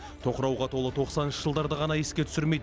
тоқырауға толы тоқсаныншы жылдарды ғана еске түсірмейді